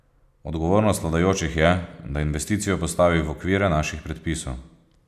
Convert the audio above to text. Odgovornost vladajočih je, da investicijo postavi v okvire naših predpisov.